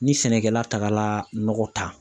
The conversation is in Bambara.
Ni sɛnɛkɛla tagala nɔgɔ ta.